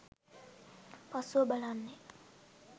පසුව බලන්නේ